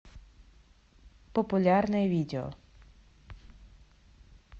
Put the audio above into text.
популярное видео